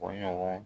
O ɲɔgɔn